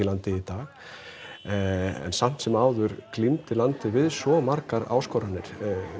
landið í dag en samt sem áður glímdi landið við svo margar áskoranir